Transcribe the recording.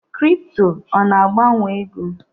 Kripto ọ na-agbanwe ego?